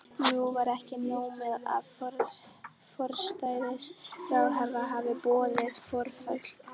Nú var ekki nóg með að forsætisráðherra hafði boðað forföll.